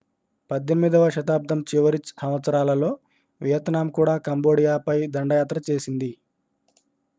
18వ శతాబ్దం చివరి సంవత్సరాలలో వియత్నాం కూడా కంబోడియాపై దండయాత్ర చేసింది